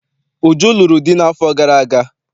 Uju lụrụ di n'afọ gara aga.